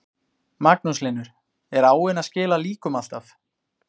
Magnús Hlynur: Er áin að skila líkum alltaf?